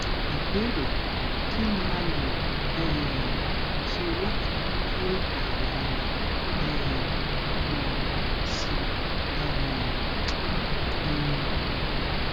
ìbéèrè kí ni a lè um ṣe láti mú kí àyà ara um máa gùn sí um i